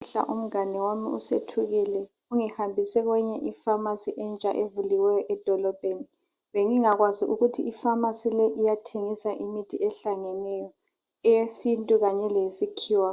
Namuhla umngane wami uSethukile ungihambise kweyinye ifamasi entsha evuliweyo edolobheni bengingakwazi ukuthi ifamasi leyi iyathengisa imithi ehlangeneyo eyesintu kanye leyesikhiwa